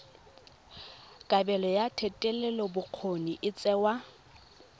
kabelo ya thetelelobokgoni e tsewa